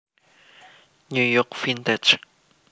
New York Vintage